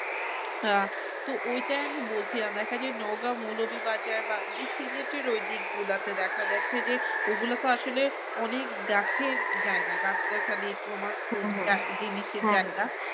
আহ তো ওইটাই আমি বলছিলাম দেখা যায় নওগাঁ মৌলভীবাজার বা যে সিলেটের ঐ দিকগুলা তে দেখা যাচ্ছে যে ঐগুলা তো আসলে অনেক গাছের জায়গা গাছগাছালি